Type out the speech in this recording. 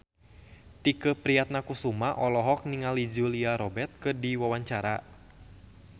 Tike Priatnakusuma olohok ningali Julia Robert keur diwawancara